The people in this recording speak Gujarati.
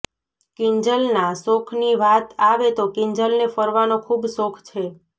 કિંજલના શોખની વાત આવે તો કિંજલને ફરવાનો ખૂબ શોખ છે